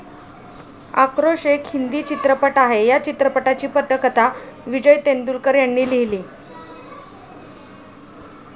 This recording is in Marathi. आक्रोश एक हिंदी चित्रपट आहे. या चित्रपटाची पटकथा विजय तेंडुलकर यांनी लिहिली.